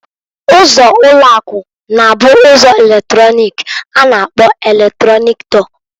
Ụzọ ulo aku, na abu ụzọ eletrọnịk a na-akpọ eletronik dọọ.